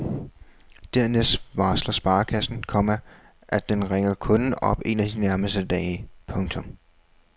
Dernæst varsler sparekassen, komma at den ringer kunden op en af de nærmeste dage. punktum